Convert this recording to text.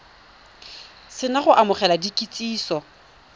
se na go amogela kitsiso